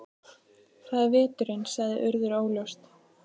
Það er veturinn- sagði Urður óljóst.